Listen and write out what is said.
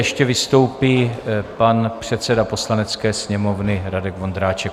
Ještě vystoupí pan předseda Poslanecké sněmovny Radek Vondráček.